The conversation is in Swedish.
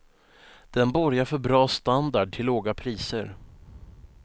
Den borgar för bra standard till låga priser.